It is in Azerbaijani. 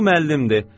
Bu müəllimdir.